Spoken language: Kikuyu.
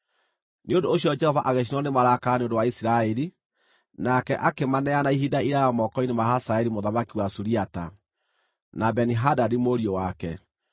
Nĩ ũndũ ũcio Jehova agĩcinwo nĩ marakara nĩ ũndũ wa Isiraeli, nake akĩmaneana ihinda iraaya moko-inĩ ma Hazaeli mũthamaki wa Suriata, na Beni-Hadadi mũriũ wake.